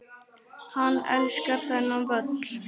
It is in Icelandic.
Hann elskar þennan völl.